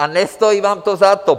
A nestojí vám to za to!